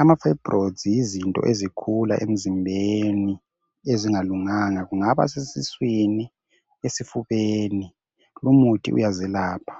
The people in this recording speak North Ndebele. Amafayibroyidzi yizinto ezikhula emzimbeni ezingalunganga. Kungaba sesiswini, esifubeni, lumuthi uyazelapha.